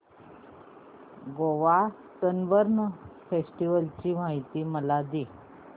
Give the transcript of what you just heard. Goa Sunburn festival ची माहिती मला दे